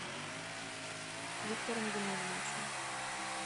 виктором геннадьевичем